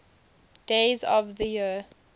days of the year